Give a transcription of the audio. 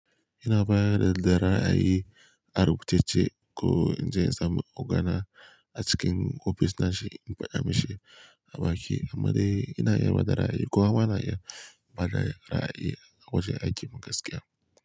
Ina baya da ra'ayi, ari kucece ko in je in samu ogana a cikin ofis na shi in faɗa mashi baki, amma dai ina iya bada ra'ayi ko amma na iya bada ra'ayi a wajen aikin gaskiya.